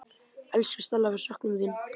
Elsku Stella, við söknum þín.